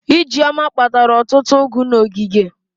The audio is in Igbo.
Ijeoma kpatara ọtụtụ ụgụ n'ogige.